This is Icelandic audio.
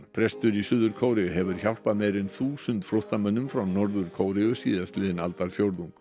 prestur í Suður Kóreu hefur hjálpað meira en þúsund flóttamönnum frá Norður Kóreu síðastliðinn aldarfjórðung